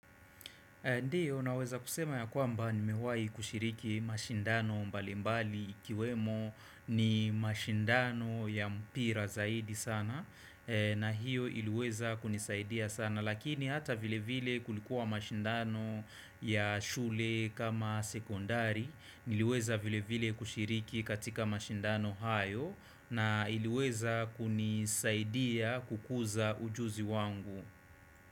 Ndiyo naweza kusema yakwamba nimewai kushiriki mashindano mbalimbali ikiwemo ni mashindano ya mpira zaidi sana na hiyo iliweza kunisaidia sana lakini hata vile vile kulikuwa mashindano ya shule kama sekondari niliweza vile vile kushiriki katika mashindano hayo na iliweza kunisaidia kukuza ujuzi wangu.